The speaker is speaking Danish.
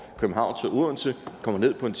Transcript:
den